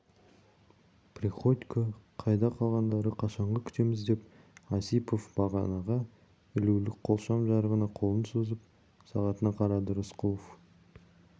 приходько қайда қалғандары қашанғы күтеміз деп осипов бағанаға ілулі қолшам жарығына қолын созып сағатына қарады рысқұлов